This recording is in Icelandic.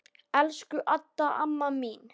Elsku Adda amma mín.